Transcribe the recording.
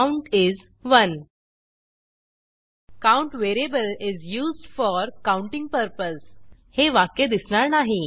count is 1 count variable is be used for counting purpose हे वाक्य दिसणार नाही